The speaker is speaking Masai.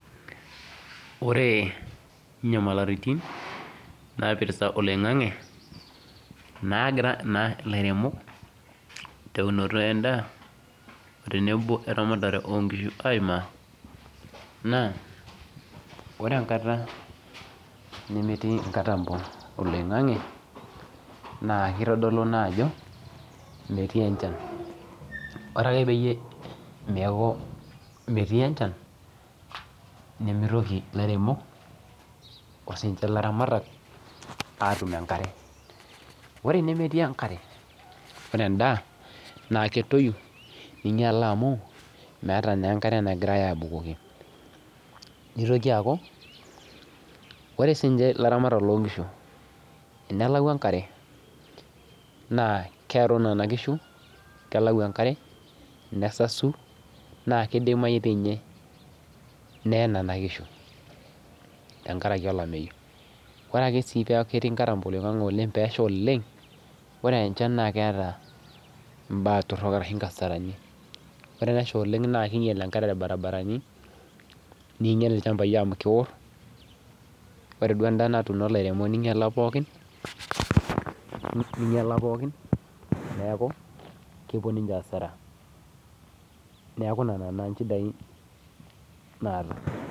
Ore inyamalaritin naipirta oloing'ange nagira ilairemok tenebo ilaramatak loonkishu aimaaa naa ore enkata nemetii inkatambo oloing'ange naa keitodolu naa ajo metii enchan ore peeku metii enchan nemeitoki ilairemok aatum enkare ore enemetii enkare naaa keinyialaa amu meeta naa enkare nagirai aabukoki neitoki aaku ore siininche ilaramatak loonkishu tenelau enkare nesasu naa keidimayu doi ninye neye nena kishu tenkaraki olameyu ore akee peeku ketii inkatambo oloing'ange naa keeta imbaa torok ashu inkasarani ore peesha oleng neijyial irbaribarani neinyiala pookin neeenuku kepuo neniche asara neeku nena naa inchidai naata